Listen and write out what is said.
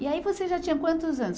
E aí você já tinha quantos anos?